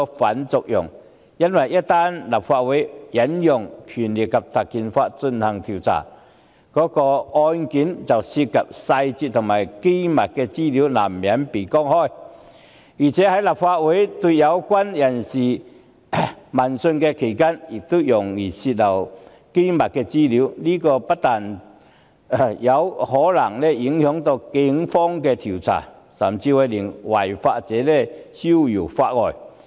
須知道立法會一旦引用《條例》進行調查，涉及案件的細節及機密資料難免曝光；在立法會舉行相關聆訊期間亦容易泄漏機密資料，這不但可能影響警方的調查，甚至會讓違法者逍遙法外。